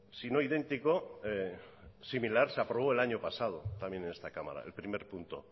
sino idéntico similar se aprobó el año pasado también en esta cámara el primer punto